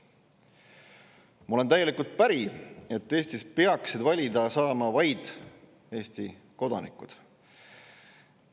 Ma olen täielikult päri, et Eestis peaksid saama valida vaid Eesti kodanikud.